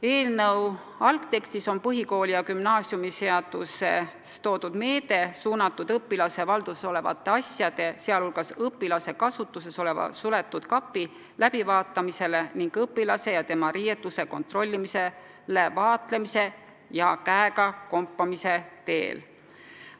Eelnõu algtekstis on põhikooli- ja gümnaasiumiseaduses toodud meede suunatud õpilase valduses olevate asjade, sh õpilase kasutuses oleva suletud kapi läbivaatamisele ning õpilase ja tema riietuse kontrollimisele vaatlemise ja käega kompamise teel.